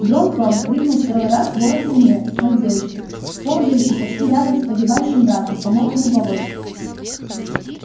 дрон-тон крикнул второй раз ворон-самец над девочкой ползающей почти рядом с погибающим братом по мокрому болоту